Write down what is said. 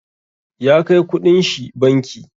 Ya kai ƙuɗin shi banki.